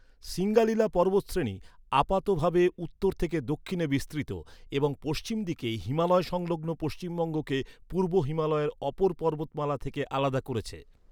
সিঙ্গালিলা পর্বতশ্রেণী আপাতভাবে উত্তর থেকে দক্ষিণে বিস্তৃত এবং পশ্চিম দিকে হিমালয় সংলগ্ন পশ্চিমবঙ্গকে পূর্ব হিমালয়ের অপর পর্বতমালা থেকে আলাদা করেছে।